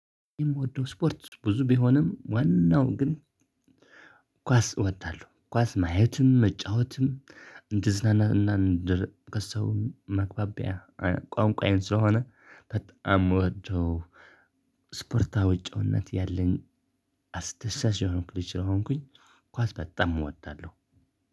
የምወደው ስፖርት ብዙ ቢሆንም ዋናው ግን ኳስ እወዳለሁ ኳስ ማየትም መጫወትም። እንድዝናና እንድር ከሰውም መግባቢያ። ቋንቋዬን ስለሆነ በጣም የምወደው። ስፖርታዊ ጪዋነት ያለኝ። አስደሳች የሆንኩ ልጅ ስለሆንኩኝ ኳስ በጣም እወጣለሁ።